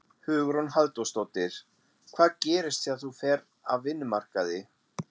Hugrún Halldórsdóttir: Hvað gerist þegar þú ferð af vinnumarkaði?